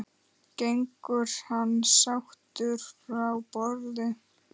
Gengur hann sáttur frá borði?